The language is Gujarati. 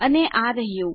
અને આ રહ્યું